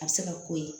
A bɛ se ka k'o ye